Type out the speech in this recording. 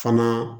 Fana